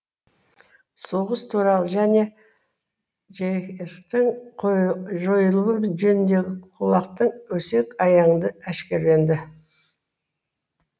соғыс туралы және жэс тің жойылуы жөніндегі кулактың өсек аяңды әшкереленді